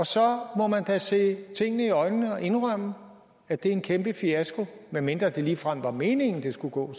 så må man da se tingene i øjnene og indrømme at det er en kæmpe fiasko medmindre det ligefrem var meningen at det skulle gå